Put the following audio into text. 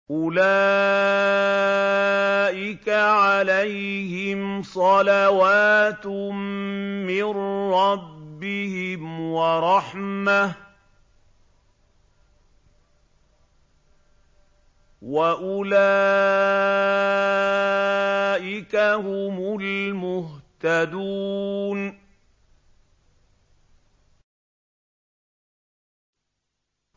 أُولَٰئِكَ عَلَيْهِمْ صَلَوَاتٌ مِّن رَّبِّهِمْ وَرَحْمَةٌ ۖ وَأُولَٰئِكَ هُمُ الْمُهْتَدُونَ